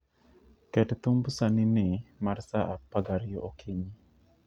Ket thumb sanini mar sa 12 okinyi